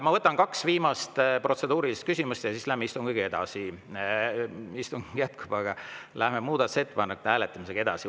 Ma võtan kaks viimast protseduurilist küsimust ja siis läheme istungiga edasi – istung jätkub, aga läheme muudatusettepanekute hääletamisega edasi.